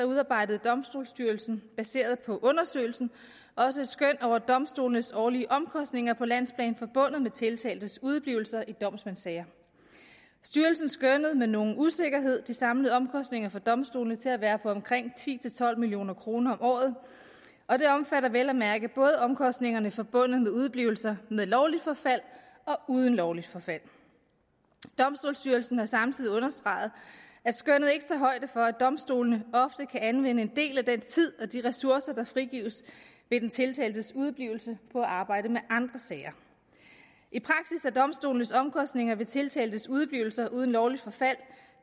udarbejdede domstolsstyrelsen baseret på undersøgelsen også et skøn over domstolenes årlige omkostninger på landsplan forbundet med tiltaltes udeblivelser i domsmandssager styrelsen skønnede med nogen usikkerhed de samlede omkostninger for domstolene til at være på omkring ti til tolv million kroner om året og det omfatter vel at mærke både omkostningerne forbundet med udeblivelser med lovligt forfald og uden lovligt forfald domstolsstyrelsen har samtidig understreget at skønnet ikke tager højde for at domstolene ofte kan anvende en del af den tid og de ressourcer der frigives ved den tiltaltes udeblivelse på at arbejde med andre sager i praksis er domstolenes omkostninger ved tiltaltes udeblivelser uden lovligt forfald